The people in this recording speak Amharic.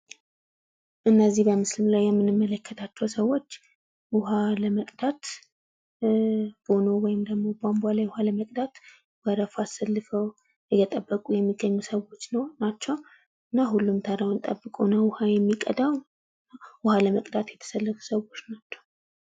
እነዚህ በምስሉ ላይ የምንመለከታቸዉ ሰዎች ዉኃ ለመቅዳት ቦኖ ወይም ደግሞ ባንቧ ላይ ዉኃ ለመቅዳት ወረፋ አሰልፈዉ እየጠብቁ የሚገኙ ሰዎች ናቸዉ። እና ዉኃ ለመቅዳት የተሰለፉ ሰዎች ሰዎች ናቸዉ።